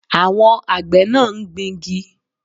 Àwọn àgbẹ̀ náà ń gbingi